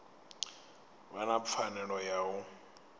vha na pfanelo ya u